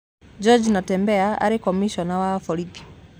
George Natembeya aarĩ komicona wa borithi